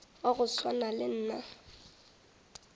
wa go swana le nna